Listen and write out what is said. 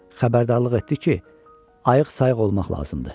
Xəbərdarlıq etdi ki, ayıq-sayıq olmaq lazımdır.